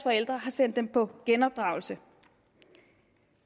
forældre har sendt dem på genopdragelse